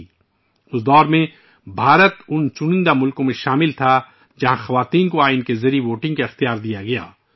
اس عرصے کے دوران، بھارت اُن ممالک میں سے ایک تھا ، جس کے آئین نے خواتین کو ووٹنگ کے حقوق فراہم کیے تھے